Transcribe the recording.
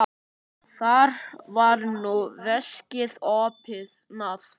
Þar var nú veskið opnað.